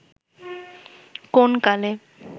কোন কালে